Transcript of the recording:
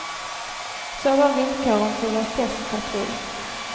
Så var villkoren för vår testpatrull.